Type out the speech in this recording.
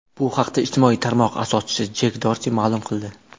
Bu haqda ijtimoiy tarmoq asoschisi Jek Dorsi ma’lum qildi .